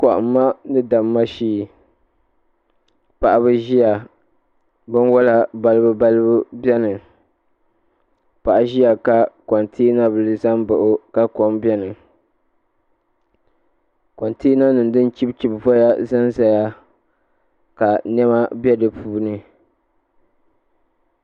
Kohamma ni damma shee paɣaba n ʒia binwola balibu balibu biɛni paɣa ʒia ka kontina bili zam baɣi o ka kom biɛni kontina nima din chibi chibi voya n zaya ka niɛma be dipuuni.